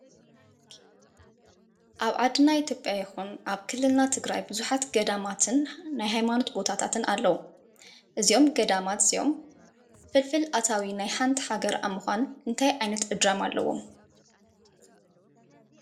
ኣብ ዓድና ኢትዮጵያ ይኩን ኣብ ክልልና ትግራይ ቡዙሓት ገዳማትን ናይ ሃይማኖት ቦታታትን ኣለዉ፡፡ እዞም ገዳማት እዚኦም ፍልፍል ኣታዊ ናይ ሓንቲ ሃገር ኣብ ምኳን እንታይ ዓይነት እጃም ኣለዎም?